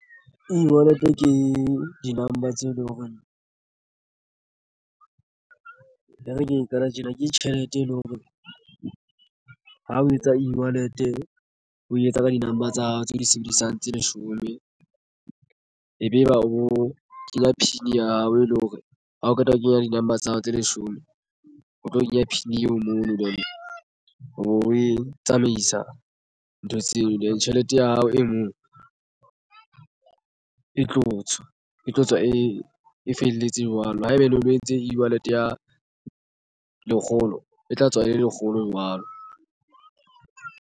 E-wallet ke di number tseo e leng hore e re ke qale tjena ke tjhelete e leng hore ha o etsa e-wallet o etsa ka di number tsa hao tseo di sebedisang tse leshome. Ebe eba o kenya PIN ya hao e leng hore ha o qeta ho kenya di number tsa hao tse leshome o tlo kenya PIN eo mono obo o e tsamaisa ntho tseo. Then tjhelete ya ao e mong e tlo tswa e tlo tswa e felletse jwalo. Haeba e le o etse e-wallet ya lekgolo e tla tswa e le lekgolo jwalo.